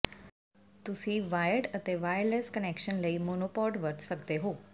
ਤੁਸੀਂ ਵਾਇਰਡ ਅਤੇ wireless connection ਲਈ ਮੋਨੋਪੌਡ ਵਰਤ ਸਕਦੇ ਹੋ